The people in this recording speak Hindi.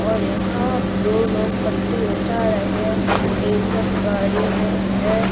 और यहाँ दो लोग कट्टे उठा रहे हैं एक जन गाड़ी में है।